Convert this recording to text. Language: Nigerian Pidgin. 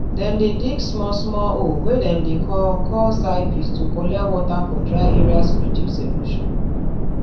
dem dey dig small small hole wey dem dey call call zai pits to collect water for dry areas reduce erosion